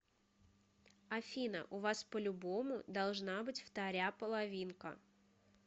афина у вас по любому должна быть вторя половинка